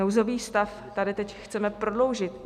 Nouzový stav tady teď chceme prodloužit.